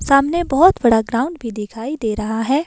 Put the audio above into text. सामने बहुत बड़ा ग्राउंड भी दिखाई दे रहा है।